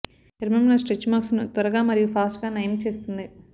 చర్మంలో stretch marks ను త్వరగా మరియు ఫాస్ట్ గా నయం చేస్తుంది